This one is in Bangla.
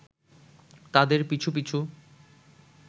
তাদের পিছু পিছু